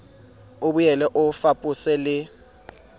o boele o fapose le